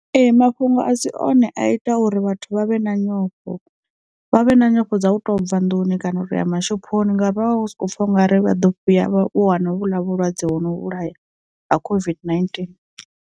Ee mafhungo a si one a ita uri vhathu vha vhe na nyofho, vha vhe na nyofho dza u to bva nḓuni kana u toya mashophoni, ngavha hu sokou pfha u nga ri vha ḓo fhiya vha wana vhuḽa vhulwadze wo no vhulaya ha COVID-19.